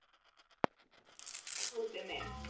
Það má nú fara milliveginn, Tóti minn.